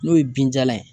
N'o ye binjalan ye